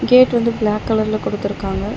கேட்டு வந்து பிளாக் கலர்ல குடுத்திருக்காங்க.